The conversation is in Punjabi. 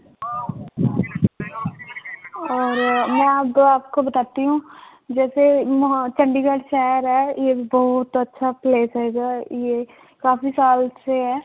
ਔਰ ਮੈਂ ਹੂੰ ਜੈਸੇ ਹਾਂ ਚੰਡੀਗੜ੍ਹ ਸ਼ਹਿਰ ਹੈ ਯੇ ਬਹੁਤ ਅੱਛਾ place ਹੈਗਾ ਹੈ ਯੇਹ ਕਾਫ਼ੀ ਸਾਲ ਸੇ ਹੈ